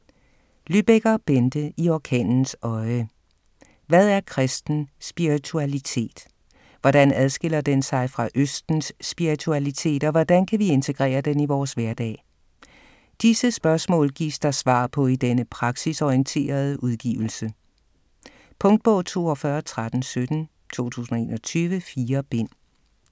Lybecker, Bente: I orkanens øje Hvad er kristen spiritualitet? Hvordan adskiller den sig fra østens spiritualitet og hvordan kan vi integrere den i vores hverdag? Disse spørgsmål gives der svar på i denne praksisorienterede udgivelse. Punktbog 421317 2021. 4 bind.